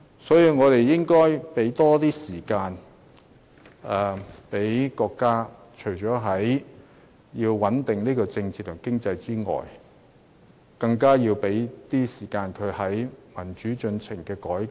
所以，我們應該要給國家更多時間，除了穩定政治和經濟外，更要給國家更多時間在民主進程上進行改革。